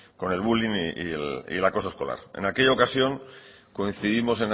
con el bullying y el acoso escolar en aquella ocasión coincidimos